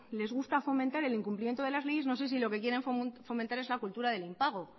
les gusta fomentar el incumplimiento de las leyes no sé si lo que quieren fomentar es la cultura del impago